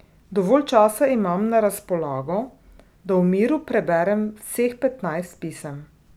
Dovolj časa imam na razpolago, da v miru preberem vseh petnajst pisem.